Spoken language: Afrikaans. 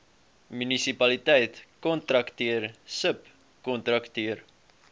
munisipaliteit kontrakteur subkontrakteur